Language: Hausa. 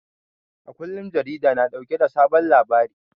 A kullum jarida na dauke da sabon labari